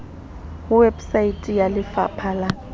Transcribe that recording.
ho website ya lefapa la